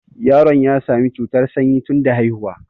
Yaron ya sami cutar sanyi tunda haihuwa